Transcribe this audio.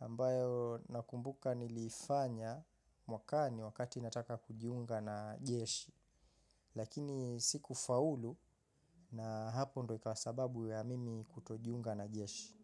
ambayo nakumbuka nilifanya mwakani wakati nataka kujiunga na jeshi. Lakini siku faulu na hapo ndo ikawa sababu ya mimi kutojiunga na jeshi.